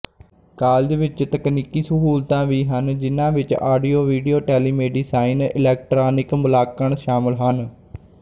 college ਵਿਚ ਤਕਨੀਕੀ ਸਹੂਲਤਾਂ ਵੀ ਹਨ ਜਿਨ੍ਹਾਂ ਵਿਚ ਆਡੀਓਵੀਡੀਓ ਟੈਲੀਮੇਡੀਸਾਈਨ ਇਲੈਕਟ੍ਰਾਨਿਕ ਮੁਲਾਂਕਣ ਸ਼ਾਮਲ ਹਨ